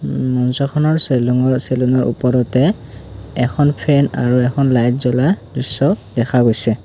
উম মঞ্চখনৰ সেলুঙৰ সেলুনৰ ওপৰতে এখন ফেন আৰু এখন লাইট জ্বলা দৃশ্য দেখা গৈছে।